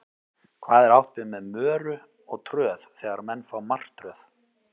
Hvað er átt við með möru og tröð þegar menn fá martröð?